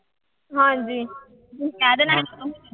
ਹਾਂਜੀ ਤੁਸੀਂ ਕਹਿ ਦੇਣਾ